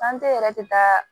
yɛrɛ tɛ taa